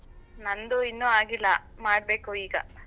ನಂದು ಇನ್ನು ಆಗಿಲ್ಲಾ ಮಾಡ್ಬೇಕು ಈಗ.